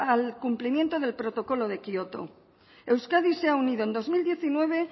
al cumplimiento del protocolo de kioto euskadi se ha unido en dos mil diecinueve